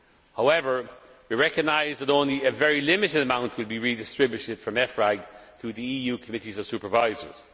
However, we recognise that only a very limited amount will be redistributed from EFRAG to the EU Committees of Supervisors.